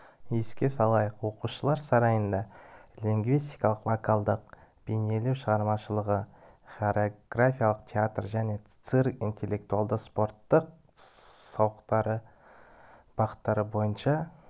еске салайық оқушылар сарайында лингвистика вокалдық бейнелеу шығармашылығы хореография театр және цирк интеллектуалды спорттық-сауықтыру бағыттар бойынша